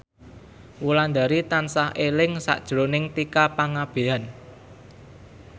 Wulandari tansah eling sakjroning Tika Pangabean